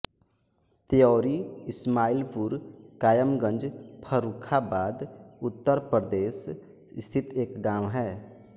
त्यौरी इस्माइलपुर कायमगंज फर्रुखाबाद उत्तर प्रदेश स्थित एक गाँव है